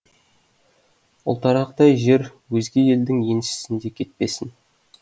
ұлтарақтай жер өзге елдің еншісінде кетпесін